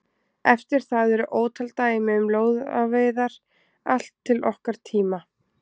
Eftir það eru ótal dæmi um lóðaveiðar allt til okkar tíma.